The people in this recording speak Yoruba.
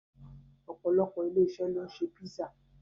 Opolopo ilé-iṣẹ́ ló ń ṣe písà